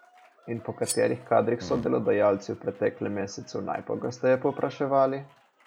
In po katerih kadrih so delodajalci v preteklem mesecu najpogosteje povpraševali?